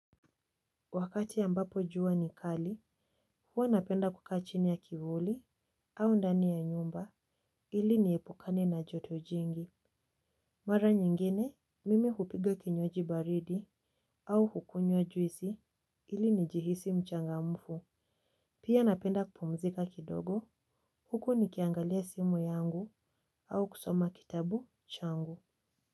Wakati ambapo jua ni kali, huwa napenda kukaa chini ya kivuli, au ndani ya nyumba, ili niepukane na joto jingi. Mara nyingine, mimi hupiga kinywaji baridi, au hukunywa juisi, ili ni jihisi mchangamfu. Pia napenda kupumzika kidogo, huku nikiangalia simu yangu, au kusoma kitabu changu.